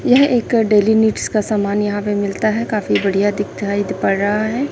यह एक daily needs का सामान यहां पे मिलता है काफी बढ़िया दिखाई पड़ रहा है।